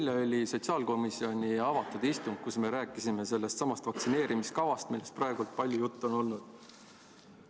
Eile oli sotsiaalkomisjoni avatud istung, kus me rääkisime sellestsamast vaktsineerimiskavast, millest praegu palju juttu on olnud.